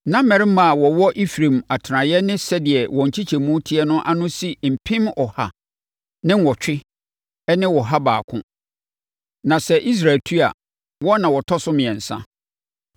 Na mmarima a wɔwɔ Efraim atenaeɛ ne sɛdeɛ wɔn nkyekyɛmu teɛ no ano si mpem ɔha ne nnwɔtwe ne ɔha baako (108,100). Na sɛ Israelfoɔ tu a, wɔn na wɔtɔ so mmiɛnsa.